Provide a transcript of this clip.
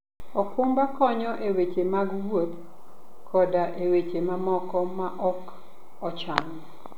okumba konyo e weche mag wuoth koda e weche mamoko maok ochan.